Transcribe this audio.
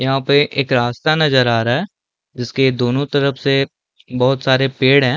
यहाँ पे एक रास्ता नजर आ रहा हैं जिसके दोनों तरफ़ से बहुत सारे पेड़ हैं।